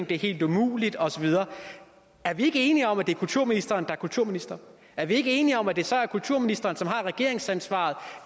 det er helt umuligt og så videre er vi ikke enige om at det er kulturministeren der er kulturminister er vi ikke enige om at det så er kulturministeren som har regeringsansvaret